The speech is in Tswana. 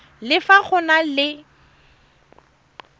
le fa go na le